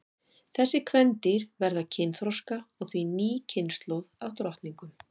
þessi kvendýr verða kynþroska og því ný kynslóð af drottningum